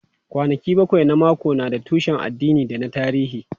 Kwanaki bakwai na mako na da tushen addini da na tarihi.